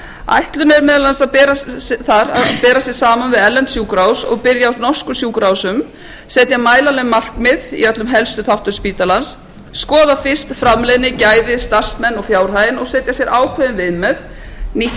ætlunin er meðal annars þar að bera sig saman við erlend sjúkrahús og byrja á norskum sjúkrahúsum setja mælanleg markmið í öllum helstu þáttum spítalans skoða fyrst framleiðni gæði starfsmenn og fjárhaginn og setja sér ákveðin viðmið nýtt skipurit